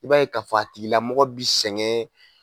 I b'a ye ka fɔ a tigilamɔgɔ bi sɛgɛn.